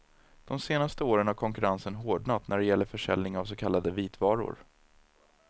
De senaste åren har konkurrensen hårdnat när det gäller försäljning av så kallade vitvaror.